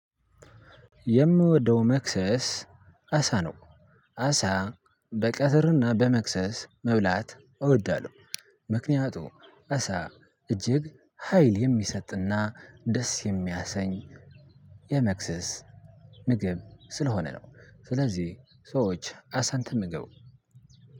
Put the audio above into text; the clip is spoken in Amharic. የምወደው መክሰስ አሳ ነው። አሳ በቀትርና በመክሰስ መብላት እወዳለሁ። ምክንያቱም አሳ እጅግ ሀይል የሚሰጥና ደስ የሚያሰኝ የመክሰስ ምግብ ስለሆነ ነው። ስለዚህ ሰዎች አሳን ተመገቡ።